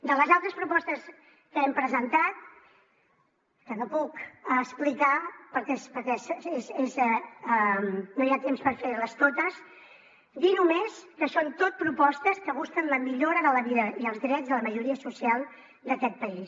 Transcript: de les altres propostes que hem presentat que no puc explicar perquè no hi ha temps per fer les totes dir només que són tot propostes que busquen la millora de la vida i els drets de la majoria social d’aquest país